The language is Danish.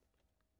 Radio24syv